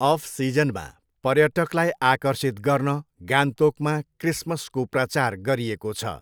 Of सिजनमा पर्यटकलाई आकर्षित गर्न गान्तोकमा क्रिसमसको प्रचार गरिएको छ।